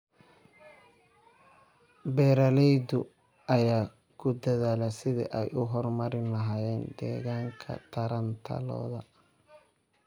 Beeralayda ayaa ku dadaalaya sidii ay u horumarin lahaayeen deegaanka taranta lo'da.